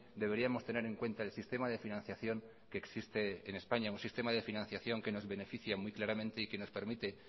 deberíamos tener en cuenta el sistema de financiación que existe en españa un sistema de financiación que nos beneficia muy claramente y que nos permite